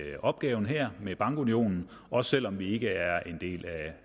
i opgaven her med bankunionen også selv om vi ikke er en del